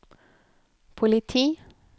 politi